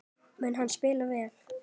Mun hann spila vel?